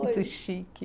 Muito chique.